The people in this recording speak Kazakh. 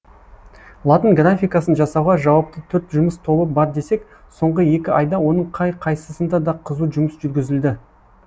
латын графикасын жасауға жауапты төрт жұмыс тобы бар десек соңғы екі айда оның қай қайсысында да қызу жұмыс жүргізілді